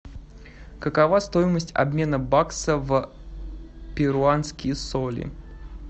какова стоимость обмена бакса в перуанские соли